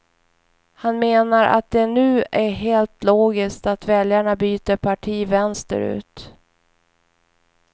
Han menar att det nu är helt logiskt att väljarna byter parti vänsterut.